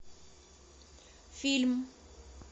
фильм